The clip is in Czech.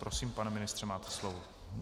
Prosím, pane ministře, máte slovo.